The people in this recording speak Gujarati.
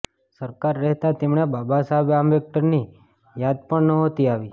સરકાર રહેતા તેમણે બાબા સાહેબ આમ્બેડકરની યાદ પણ નહોતી આવી